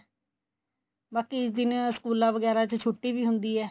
ਬਾਕੀ ਜਿਵੇਂ ਸਕੂਲਾ ਵਗੈਰਾ ਵਿੱਚ ਛੁੱਟੀ ਵੀ ਹੁੰਦੀ ਏ